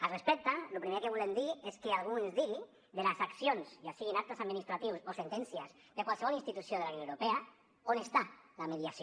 al respecte lo primer que volem dir és que algú ens digui de les accions ja siguin actes administratius o sentències de qualsevol institució de la unió europea on està la mediació